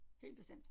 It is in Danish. Helt bestemt